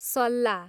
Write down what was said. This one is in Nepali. सल्ला